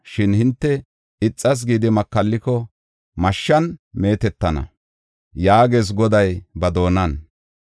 Shin hinte ixas gidi makalliko, mashshan meetetana” yaagees Goday ba doonan.